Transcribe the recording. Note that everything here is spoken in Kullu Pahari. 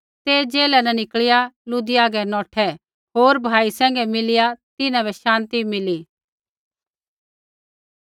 ते जेला न निकल़िया लुदियै री हागै नौठै होर भाई सैंघै मिलिया तिन्हां बै शान्ति मिली